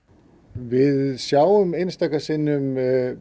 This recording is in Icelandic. við sjáum einstaka sinnum